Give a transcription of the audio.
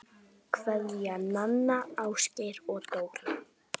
Kveðja, Nanna, Ásgeir og Dóra